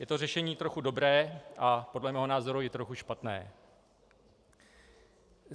Je to řešení trochu dobré a podle mého názoru i trochu špatné.